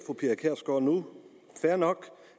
nu fair nok